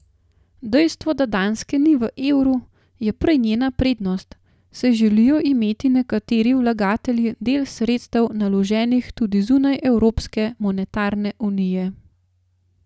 Dejstvo, da Danske ni v evru, je prej njena prednost, saj želijo imeti nekateri vlagatelji del sredstev naloženih tudi zunaj evropske monetarne unije.